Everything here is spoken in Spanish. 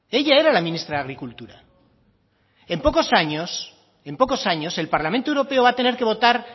ella era la ministra de agricultura en pocos años en pocos años el parlamento europeo va a tener que votar